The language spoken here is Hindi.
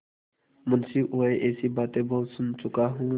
मुंशीऊँह ऐसी बातें बहुत सुन चुका हूँ